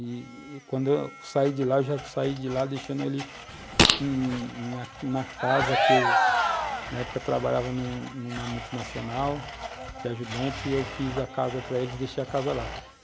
E e quando eu saí de lá, eu já saí de lá deixando ele na casa que eu, na época, trabalhava numa multinacional de ajudante, e eu fiz a casa para eles, deixei a casa lá.